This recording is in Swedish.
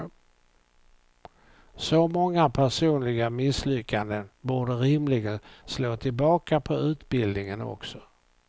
Så många personliga misslyckanden borde rimligen slå tillbaka på utbildningen också.